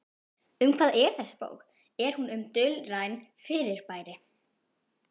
Um hvað er þessi bók, er hún um dulræn fyrirbæri?